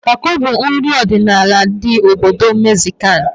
Tako bụ nri ọdịnala ndị obodo Megziko